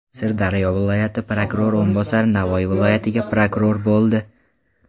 Sirdaryo viloyati prokurori o‘rinbosari Navoiy viloyatiga prokuror bo‘ldi.